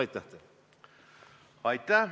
Aitäh!